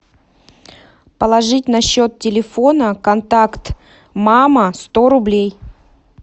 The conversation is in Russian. положить на счет телефона контакт мама сто рублей